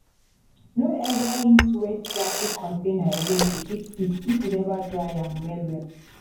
no ever use wet plastic container again to keep seed if you never dry am well-well.